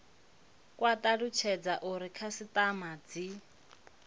kwa talutshedza uri khasitama dzi